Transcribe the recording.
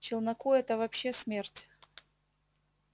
челноку это вообще смерть